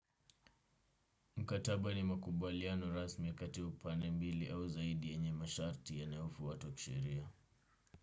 Mkataba ni makubaliano rasmi kati upande mbili au zaidi yenye masharti yanayo fwatua kisheria.